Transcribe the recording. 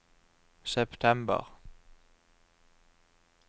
september